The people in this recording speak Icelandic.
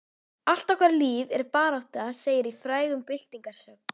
Allt okkar líf er barátta segir í frægum byltingarsöng.